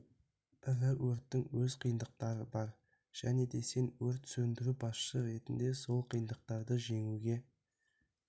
ірі өрттің өз қиындықтары бар және де сен өрт сөндіру басшысы ретінде сол қиындықтарды жеңуге